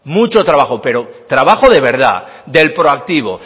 mucho trabajo pero trabajo de verdad del proactivo